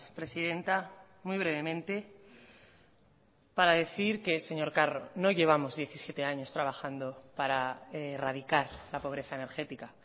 presidenta muy brevemente para decir que señor carro no llevamos diecisiete años trabajando para erradicar la pobreza energética